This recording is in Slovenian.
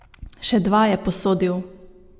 Še dva je posodil.